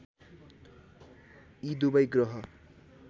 यी दुबै ग्रह